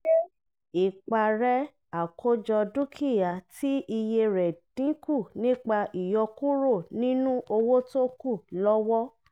ṣé ìparẹ́ àkójọ dúkìá tí iye rẹ̀ dínkù nípa ìyọkúrò nínú owó tókù lọ́wọ́.